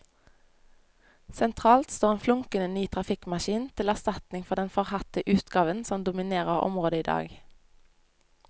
Sentralt står en flunkende ny trafikkmaskin, til erstatning for den forhatte utgaven som dominerer området i dag.